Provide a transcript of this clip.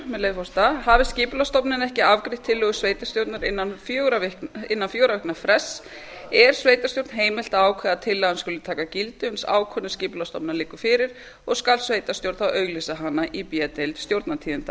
með leyfi forseta hafi skipulagsstofnun ekki afgreitt tillögu sveitarstjórnar innan fjögurra vikna frests er sveitarstjórn heimilt að ákveða að tillagan skuli taka gildi uns ákvörðun skipulagsstofnunar liggur fyrir og skal sveitarstjórn þá auglýsa hana í b deild stjórnartíðinda